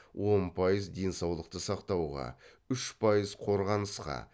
он пайыз денсаулықты сақтауға үш пайыз қорғанысқа